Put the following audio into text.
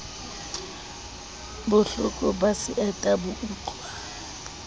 bohloko ba seeta bo utluwa